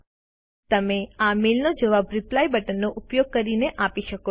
તમે આ મેઈલનો જવાબ રિપ્લાય બટનનો ઉપયોગ કરીને આપી શકો છો